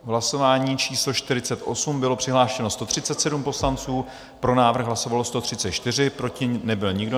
V hlasování číslo 48 bylo přihlášeno 137 poslanců, pro návrh hlasovalo 134, proti nebyl nikdo.